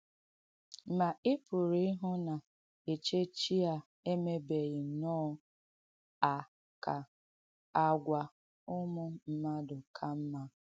Ma, ị pụ̀rụ̀ īhụ́ na èchéchì a èmèbēghī nnọ̣ à ka àgwà ùmù mmadụ ka mma.